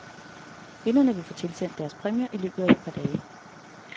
Vinderne vil få tilsendt deres præmier i løbet af et par dage.